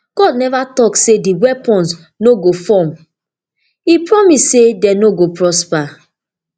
god neva tok say di weapons no go form e promise say dem no go prosper